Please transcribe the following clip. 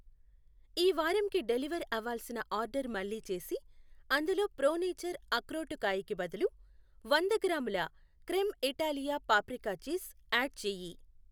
ఈ వారం కి డెలివర్ అవ్వాల్సిన ఆర్డర్ మళ్ళీ చేసి అందులో ప్రో నేచర్ అక్రోటుకాయ కి బదులు వంద గ్రామూల crem Italia paprika cheese add చేయి.